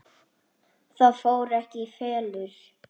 Það fór ekki í felur.